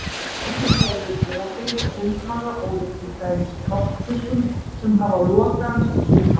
Síldin hefur opinn sundmaga ólíkt til dæmis þorskfiskum sem hafa lokaðan sundmaga.